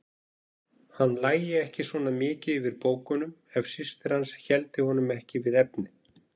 Hann lægi ekki svona mikið yfir bókunum ef systir hans héldi honum ekki við efnið.